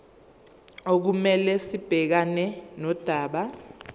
okumele sibhekane nodaba